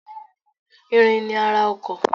Irin ni ara ọkọ̀.